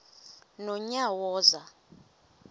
nonyawoza